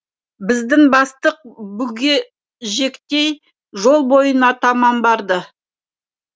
біздің бастық бүгежектей жол бойына таман барды